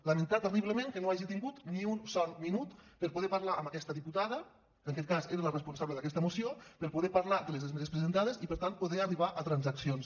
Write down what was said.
lamentar terriblement que no hagi tingut ni un sol minut per poder parlar amb aquesta diputada que en aquest cas era la responsable d’aquesta moció per poder parlar de les esmenes presentades i per tant poder arribar a transaccions